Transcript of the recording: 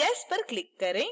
yes पर click करें